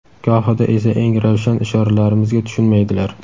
gohida esa eng ravshan ishoralarimizga tushunmaydilar.